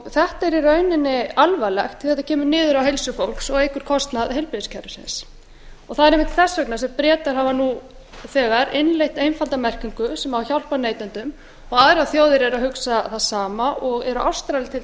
þetta er í rauninni alvarlegt því þetta kemur niður á heilsu fólks og eykur kostnað heilbrigðiskerfisins og það er einmitt þess vegna sem bretar hafa nú þegar innleitt einfalda merkingu sem hafa hjálpað neytendum og aðrar þjóðir árum að hugsa það sama og eru ástralir til